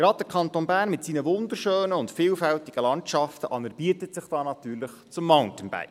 Gerade der Kanton Bern mit seinen wunderschönen und vielfältigen Landschaften anerbietet sich natürlich zum Mountainbiken.